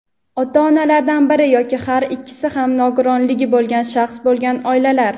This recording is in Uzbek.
ota-onalardan biri yoki har ikkisi ham nogironligi bo‘lgan shaxs bo‘lgan oilalar;.